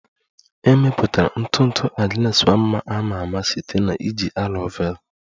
E mepụtara ntụ ntụ Agnes Nwanma a ma ama site na iji aloe vera